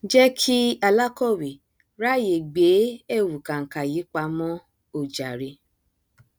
jẹ kí alákọwé ráàyè gbé ẹwù kànkà yìí pamọ o jàre